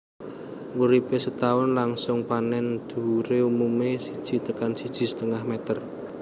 Uripé setaun langsung panèn dhuwuré umumé siji tekan siji setengah meter